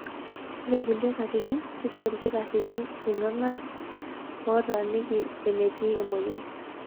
Ore kulie katitin, keitayu ilkitarrini ilng'arrng'arr ootaaniki enetiin emoyian.